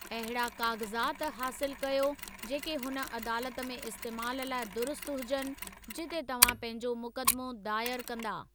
अहिड़ा काग़ज़ात हासिलु कयो जेके हुन अदालत में इस्तेमालु लाइ दुरुस्त हुजनि जिते तव्हां पंहिंजो मुकदमो दायर कंदा।